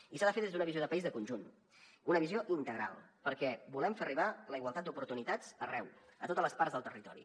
i s’ha de fer des d’una visió de país de conjunt una visió integral perquè volem fer arribar la igualtat d’oportunitats arreu a totes les parts del territori